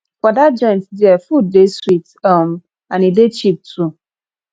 for dat joint there food dey sweet um and e dey cheap too